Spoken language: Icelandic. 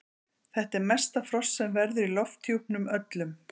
þetta er mesta frost sem verður í lofthjúpnum öllum